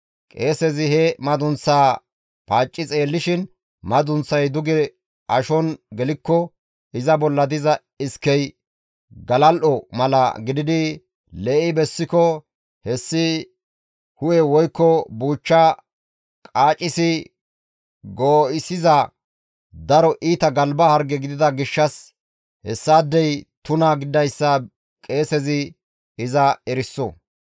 qeesezi he madunththaa paacci xeellishin madunththay duge ashon gelikko iza bolla diza iskey galal7o mala gididi lee7i bessiko hessi hu7e woykko buuchcha qaacisi goo7issiza daro iita galba harge gidida gishshas hessaadey tuna gididayssa qeesezi iza eriso.